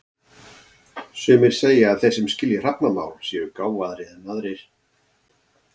Sumir segja að þeir sem skilji hrafnamál séu gáfaðri en aðrir.